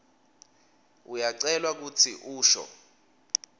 uyacelwa kutsi usho